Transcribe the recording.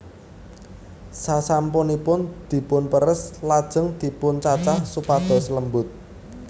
Sasampunipun dipunperes lajeng dipuncacah supados lembut